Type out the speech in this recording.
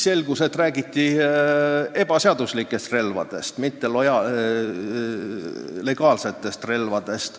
... selgus, et räägiti ebaseaduslikest, mitte legaalsetest relvadest.